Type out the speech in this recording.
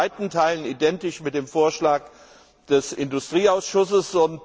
Es ist in weiten Teilen identisch mit dem Vorschlag des Industrieausschusses.